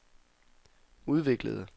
udviklede